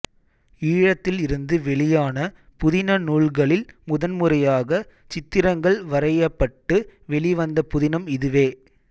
ஈழத்தில் இருந்து வெளியான புதின நூல்களில் முதன் முறையாக சித்திரங்கள் வரையப்பட்டு வெளிவந்த புதினம் இதுவே